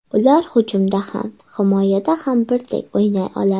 Ular hujumda ham, himoyada ham birdek o‘ynay oladi.